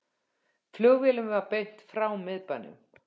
Flugvélum beint frá miðbænum